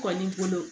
Kɔni bolo